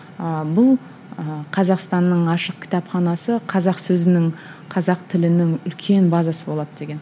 ы бұл ыыы қазақстанның ашық кітапханасы қазақ сөзінің қазақ тілінің үлкен базасы болады деген